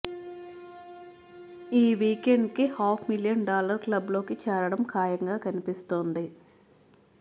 ఈ వీకెండ్ కి half million dollar club లోకి చేరడం ఖాయంగా కనిపిస్తోంది